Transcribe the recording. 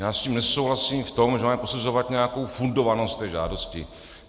Já s ním nesouhlasím v tom, že máme posuzovat nějakou fundovanost té žádosti.